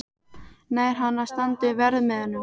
Nær hann að standa undir verðmiðanum?